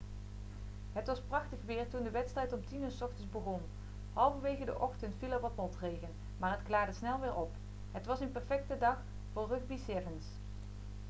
het was prachtig weer toen de wedstrijd om 10.00 uur s ochtends begon halverwege de ochtend viel er wat motregen maar het klaarde snel weer op het was een perfecte dag voor rugby sevens